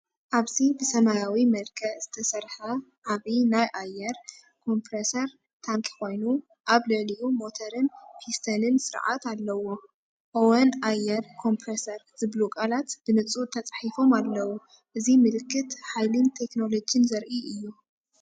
ኣብዚ ብሰማያዊ መልክዕ ዝተሰርሐ ዓቢ ናይ ኣየር ኮምፕረሰር ታንኪ ኮይኑ፡ ኣብ ልዕሊኡ ሞተርን ፒስተንን ስርዓት ኣለዎ። "ኦወን ኣየር ኮምፕረሰር" ዝብሉ ቃላት ብንጹር ተጻሒፎም ኣለዉ። እዚ ምልክት ሓይልን ቴክኖሎጅን ዘርኢ እዩ።